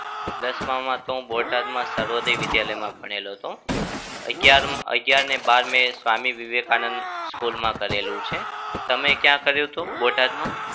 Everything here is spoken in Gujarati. દસમાં માં તો હું બોટાદમાં સર્વોદય વિદ્યાલયમાં ભણેલો હતો. અગિયાર અગિયારને બાર મેં સ્વામી વિવેકાનંદ school માં કરેલું છે. તમે ક્યાં કર્યું હતું બોટામાં?